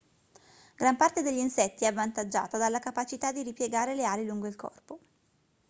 gran parte degli insetti è avvantaggiata dalla capacità di ripiegare le ali lungo il corpo